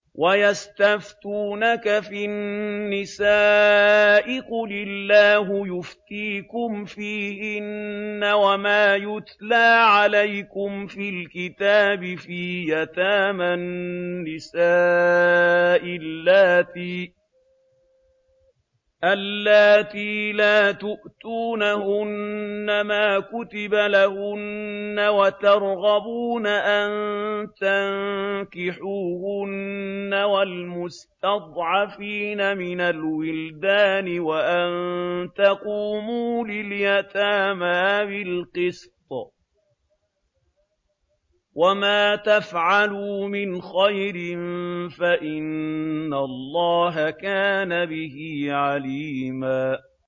وَيَسْتَفْتُونَكَ فِي النِّسَاءِ ۖ قُلِ اللَّهُ يُفْتِيكُمْ فِيهِنَّ وَمَا يُتْلَىٰ عَلَيْكُمْ فِي الْكِتَابِ فِي يَتَامَى النِّسَاءِ اللَّاتِي لَا تُؤْتُونَهُنَّ مَا كُتِبَ لَهُنَّ وَتَرْغَبُونَ أَن تَنكِحُوهُنَّ وَالْمُسْتَضْعَفِينَ مِنَ الْوِلْدَانِ وَأَن تَقُومُوا لِلْيَتَامَىٰ بِالْقِسْطِ ۚ وَمَا تَفْعَلُوا مِنْ خَيْرٍ فَإِنَّ اللَّهَ كَانَ بِهِ عَلِيمًا